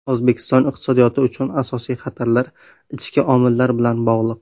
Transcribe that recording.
O‘zbekiston iqtisodiyoti uchun asosiy xatarlar ichki omillar bilan bog‘liq.